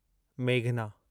मेघना